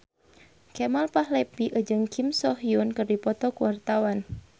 Kemal Palevi jeung Kim So Hyun keur dipoto ku wartawan